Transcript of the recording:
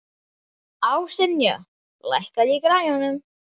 Ásynja, lækkaðu í græjunum.